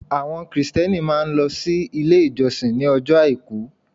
Àwọn Kristẹni máa n lọ sí Ilé ìjọsìn ní ojọ́ Àìkú